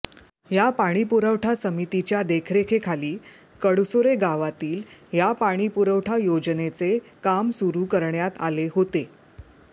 या पाणीपुरवठा समितीच्या देखरेखीखाली कडसुरे गावातील या पाणीपुरवठा योजनेचे काम सुरु करण्यात आले होते